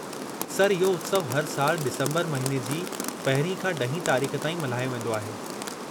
Sir, इहो उत्सवु हर सालु डिसंबरु महीने जी पहिरीं खां ॾहीं तारीख़ ताईं मल्हायो वेंदो आहे।